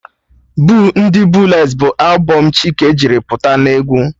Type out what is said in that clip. Boo ndị booles bụ albọm Chike jiri pụta n'egwu